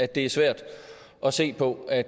det er svært at se på at